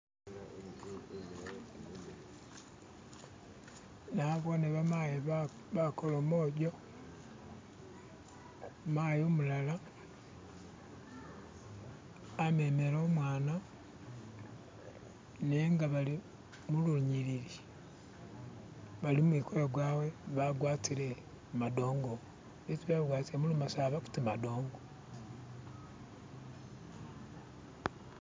Nabone bamayi bakolomojo. Mayi umulala amemele umwana nenga bali mulunyilili, bali mumukolo gwawe bagwatile madongo. Ibintu byesi bagwatile mulumasaba kuti madongo